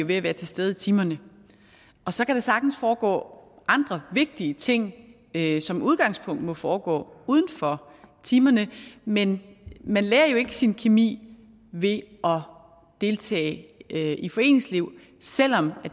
ved at være til stede i timerne og så kan der sagtens foregå andre vigtige ting der som udgangspunkt må foregå uden for timerne men man lærer jo ikke sin kemi ved at deltage i foreningsliv selv om